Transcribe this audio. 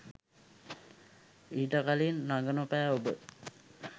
ඊට කලින් රඟනොපෑ ඔබ